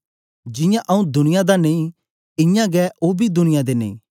जियां आऊँ दुनिया दा नेई इयां गै ओ बी दुनिया दे नेई